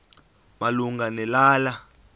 malunga ne lala